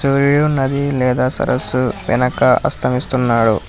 సూర్యుడు నది లేదా సరస్సు వెనక అస్తమిస్తున్నాడు.